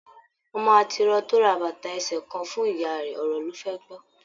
Ọmọ atiro to ra bàtà ẹsẹ kàn fún ìyá rẹ, ọ̀rọ̀ lo fẹ gbọ.